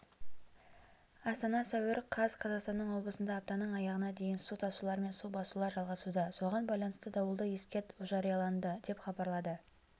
астана сәуір қаз қазақстанның облысында аптаның аяғына дейін су тасулар мен су басулар жалғасуда соған байланысты дауылды ескерт ужарияланды деп хабарлады